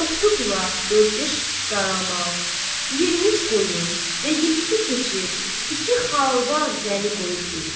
Doqquz ulaq, dörd-beş qaramal, 23 qoyun və yeddi keçi, iki xalvar zəmi qoyub getdi.